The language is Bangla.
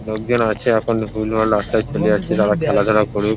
লোকজন আছে এখন ভুলভাল রাস্তায় চলে যাচ্ছে তারা খেলাধূলা করুক ।